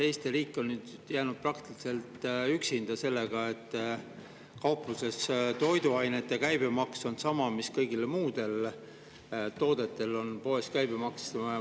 Eesti riik on jäänud praktiliselt üksinda sellega, et kaupluses on toiduainete käibemaks sama mis kõigil muudel toodetel poes.